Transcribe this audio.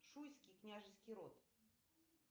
шуйский княжеский род